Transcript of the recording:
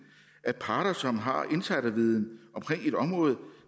at parter som har insiderviden på et område